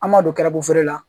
An m'a don garabafeere la